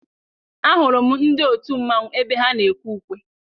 A hụrụ m ndị otu mmanwụ ebe ha na-ekwe ukwe.